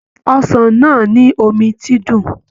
Ọsàn náà ni omi ti dùn.